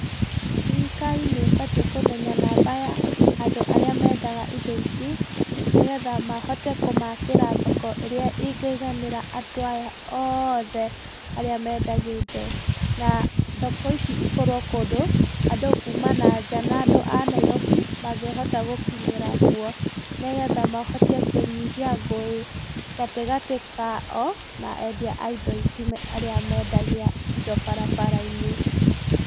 Thirikari nĩ ĩbatiĩ kũmenya namba ya andũ arĩa mendaga indo ici nĩgetha mahote kũmaakĩra thoko ĩrĩa ĩngĩiganira andũ aya othe arĩa mendagia indo. Na thoko ici ikorwo kũndũ andũ kuma na nja na andũ a Nairobi mangĩhota gũkinyĩra kuo. Nĩgetha mahote kũnyihia ngũĩ gatagati kao na endia a indo ici arĩa mendagia indo barabara-inĩ.